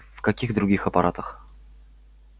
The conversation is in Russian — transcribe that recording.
в каких других аппаратах